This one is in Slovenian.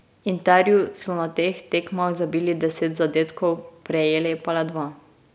Interju so na teh tekmah zabili deset zadetkov, prejeli pa le dva.